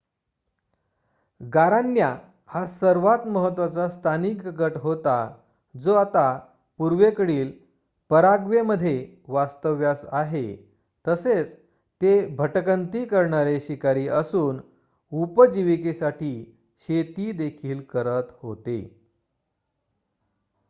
गारान्या हा सर्वात महत्वाचा स्थानिक गट होता जो आता पूर्वेकडील पराग्वेमध्ये वास्तव्यास आहे तसेच ते भटकंती करणारे शिकारी असून उपजीविकेसाठी शेती देखील करत होते